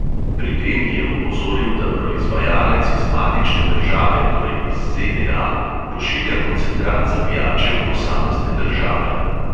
Pri tem je opozoril, da proizvajalec iz matične države, torej iz ZDA, pošilja koncentrat za pijače v posamezne države.